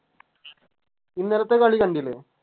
ഇന്നലത്തെ കളി കണ്ടില്ലേ